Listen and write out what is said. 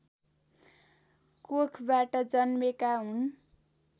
कोखबाट जन्मेका हुन्